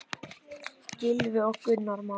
Gylfi og Gunnar Már.